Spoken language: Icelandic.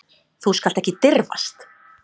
Þú skalt ekki dirfast.